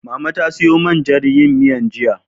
Mama ta siyo man jan yin miyar, jiya.